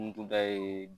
N tun da ye